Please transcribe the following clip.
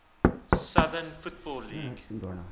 southern football league